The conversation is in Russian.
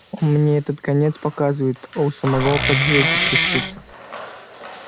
мне этот конец показывает а у самого поджилки трясутся